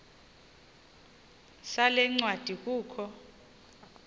sale ncwadi kukho